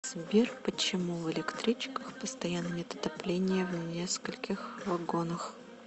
сбер почему в электричках постоянно нет отопления в нескольких вагонах